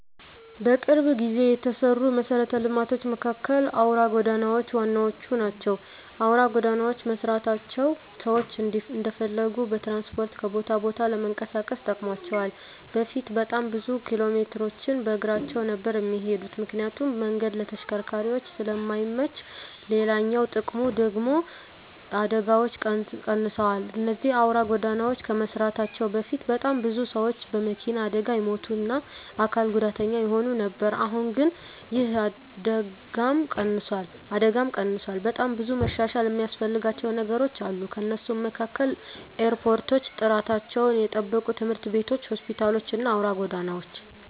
በቅርብ ጊዜ የተሰሩ መሰረተ ልማቶች መካከል አውራ ጎዳናዎች ዋነኞቹ ናቸው። አውራ ጎዳናዎች መሰራታቸው ሰዎች እንደፈለጉ በትራንስፖርት ከቦታ ቦታ ለመንቀሳቀስ ጠቅሟቸዋል በፊት በጣም ብዙ ኪሎሜትሮችን በእግራቸው ነበር እሚሄዱት ምክንያቱም መንገዱ ለተሽከርካሪዎች ስለማይመች፤ ሌላኛው ጥቅሙ ደግሙ ደግሞ አደጋዎች ቀንሰዋል እነዚህ አውራ ጎዳናዎች ከመሰራታቸው በፊት በጣም ብዙ ሰዎች በመኪና አደጋ ይሞቱ እና አካል ጉዳተኛ ይሆኑ ነበር አሁን ግን ይህ አደጋም ቀንሷል። በጣም ብዙ መሻሻል እሚያስፈልጋቸው ነገሮች አሉ ከነሱም መካከል ኤርፖርቶች፣ ጥራታቸውን የጠበቁ ትምህርት ቤቶች፣ ሆስፒታሎች እና አውራ ጎዳናዎች።